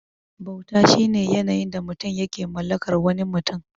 Bauta shine yanayin da mutum yake mallakar wani mutum.